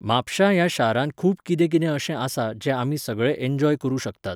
म्हापश्यां ह्या शारांत खूब कितें कितें अशें आसा जें आमी सगळे इन्जॉय करूं शकतात.